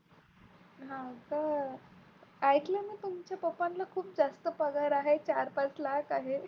हा का ऐकलं मी तुमच्या पप्पाला खूप जास्त पगार आहे चार-पाच लाख आहे.